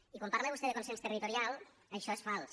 i quan parla vostè de consens territorial això és fals